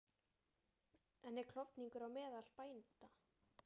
En er klofningur á meðal bænda?